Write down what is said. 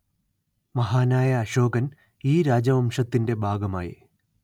മഹാനായ അശോകന്‍ ഈ രാജവംശത്തിന്റെ ഭാഗമായി